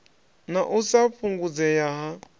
na u sa fhungudzea ha